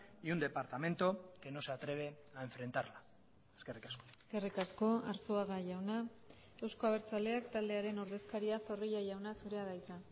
y un departamento que no se atreve a enfrentarla eskerrik asko eskerrik asko arzuaga jauna euzko abertzaleak taldearen ordezkaria zorrilla jauna zurea da hitza